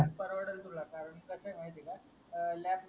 परवडल तुला कारण कस आहे माहिती आहे का अं LAB म्हणजे